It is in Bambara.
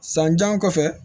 San jan kɔfɛ